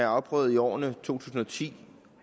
afprøvet i årene to tusind og ti